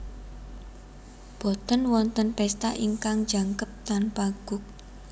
Boten wonten pesta ingkang jangkep tanpa guk